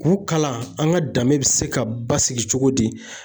K'u kalan an ka danbe bɛ se ka basigi cogo di